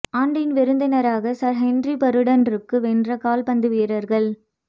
ஆண்டின் விருந்தினராக Sir Henry Burton ரூக்கு வென்ற கால்பந்து வீரர்கள்